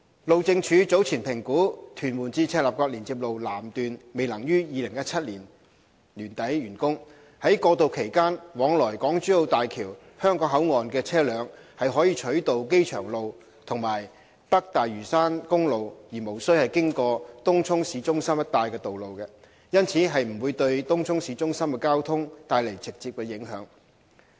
路政署早前評估屯門至赤鱲角連接路南段未能於2017年年底完工，在過渡期間往來港珠澳大橋香港口岸的車輛可取道機場路和北大嶼山公路而無需經過東涌市中心一帶的道路，因此，不會對東涌市中心的交通帶來直接影響。